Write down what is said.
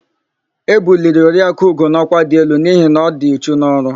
E buliri Oriakụ Ugo n'ọkwa dị elu n'ihi na ọ dị uchu n'ọrụ.